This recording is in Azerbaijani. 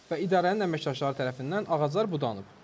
Və idarənin əməkdaşları tərəfindən ağaclar budanıb.